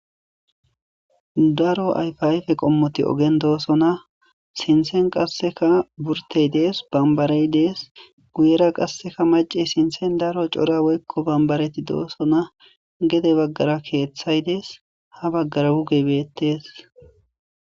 Daro ayfiayfe qommoti ogen doosona sinthen qasseka burtey dees bambarey dees guyera qasseka mace sinthen daro cora woykko bambareti doosona gede baggara keeththay dees ha baggara wuge beettes